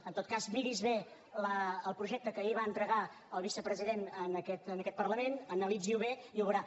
en tot cas miri’s bé el projecte que ahir va entregar el vicepresident en aquest parlament analitzi ho bé i ho veurà